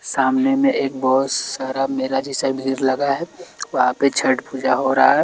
सामने में एक बहोत सारा मेला जैसा भीड़ लगा है वहां पर छठ पूजा हो रहा है।